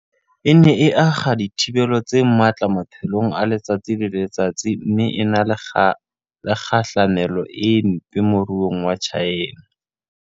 E ne e akga dithibelo tse matla maphelong a letsatsi le letsatsi mme e na le kgahlamelo e mpe moruong wa China.